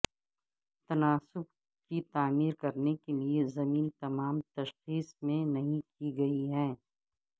تناسب کی تعمیر کرنے کے لئے زمین تمام تشخیص میں نہیں کی گئی ہے